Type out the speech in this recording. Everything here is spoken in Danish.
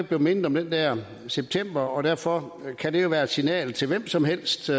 bliver mindet om den der september og derfor kan det være et signal til hvem som helst